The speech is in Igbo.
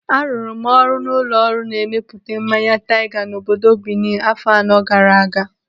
Arụrụ m ọrụ n'ụlọ ọrụ na-emepụta mmanya taiga n'obodo Bini afọ anọ gaara aga.